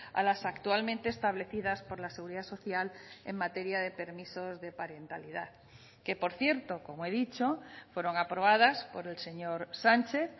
a las actualmente establecidas por la seguridad social en materia de permisos de parentalidad que por cierto como he dicho fueron aprobadas por el señor sánchez